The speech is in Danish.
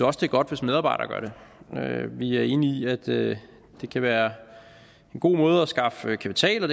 også det er godt hvis medarbejdere gør det vi er enige i at det kan være en god måde at skaffe kapital